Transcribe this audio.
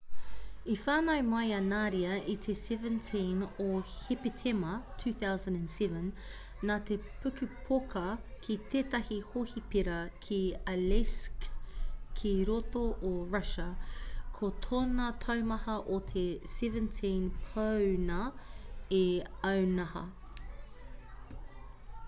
i whānau mai a nadia i te 17 o hepetema 2007 nā te pukupoka ki tētahi hohipera ki aleisk ki roto o russia ko tōna taumaha o te 17 pāuna 1 aunaha